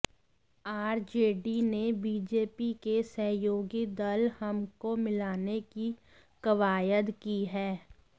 RJD ने BJP के सहयोगी दल हम को मिलाने की कवायद की है